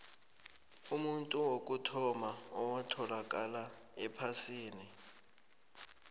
umuntu wokuthoma owatholakala ephasini